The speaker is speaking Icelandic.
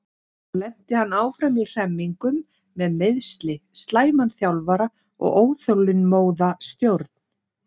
Þar lenti hann áfram í hremmingum með meiðsli, slæman þjálfara og óþolinmóða stjórn.